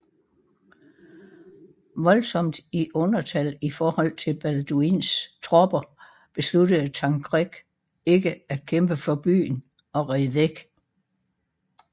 Voldsomt i undertal i forhold til Balduins tropper besluttede Tancred ikke at kæmpe for byen og red væk